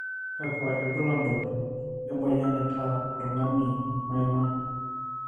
kakua irbulabol le moyian naaitaa oltungani maima.